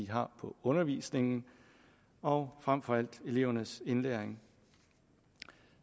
har på undervisningen og frem for alt elevernes indlæring